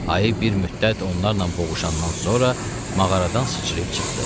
Ayı bir müddət onlarla boğuşandan sonra mağaradan sıçrayıb çıxdı.